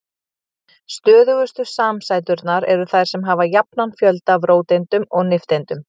Stöðugustu samsæturnar eru þær sem hafa jafnan fjölda af róteindum og nifteindum.